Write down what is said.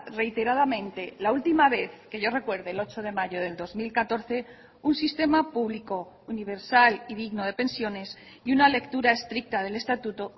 reiteradamente la última vez que yo recuerde el ocho de mayo del dos mil catorce un sistema público universal y digno de pensiones y una lectura estricta del estatuto